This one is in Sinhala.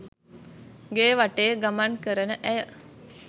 ගේ වටේ ගමන් කරන ඇය